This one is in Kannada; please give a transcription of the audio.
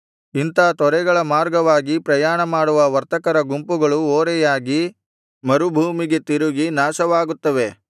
ಇಂಥಾ ತೊರೆಗಳ ಮಾರ್ಗವಾಗಿ ಪ್ರಯಾಣಮಾಡುವ ವರ್ತಕರ ಗುಂಪುಗಳು ಓರೆಯಾಗಿ ಮರುಭೂಮಿಗೆ ತಿರುಗಿ ನಾಶವಾಗುತ್ತವೆ